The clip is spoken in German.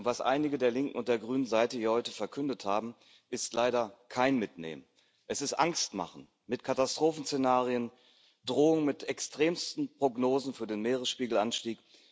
Doch was einige der Linken und der Grünen hier heute verkündet haben, ist leider kein Mitnehmen, es ist Angstmachen mit Katastrophenszenarien, Drohung mit extremsten Prognosen für den Meeresspiegelanstieg.